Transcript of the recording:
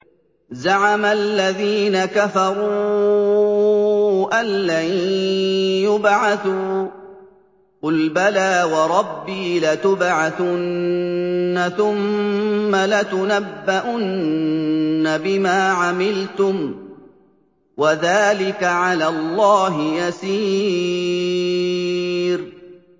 زَعَمَ الَّذِينَ كَفَرُوا أَن لَّن يُبْعَثُوا ۚ قُلْ بَلَىٰ وَرَبِّي لَتُبْعَثُنَّ ثُمَّ لَتُنَبَّؤُنَّ بِمَا عَمِلْتُمْ ۚ وَذَٰلِكَ عَلَى اللَّهِ يَسِيرٌ